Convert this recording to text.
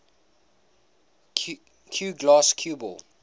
cuegloss cue ball